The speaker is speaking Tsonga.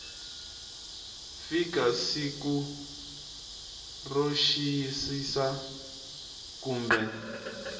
fika siku ro xiyisisa kumbe